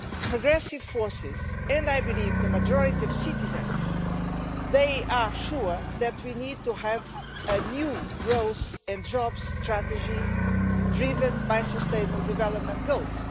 Progressive forces, and I believe the majority of citizens, are sure that we need to have a new growth and jobs strategy driven by sustainable development goals.